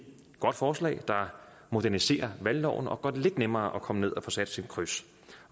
godt forslag der moderniserer valgloven og gør det lidt nemmere at at komme ned og få sat sit kryds